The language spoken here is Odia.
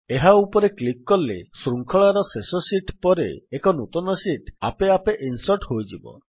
ଏହା ଉପରେ କ୍ଲିକ୍ କଲେ ଶୃଙ୍ଖଳାର ଶେଷ ଶୀଟ୍ ପରେ ଏକ ନୂତନ ଶୀଟ୍ ଆପେ ଆପେ ଇନ୍ସର୍ଟ୍ ହୋଇଯିବ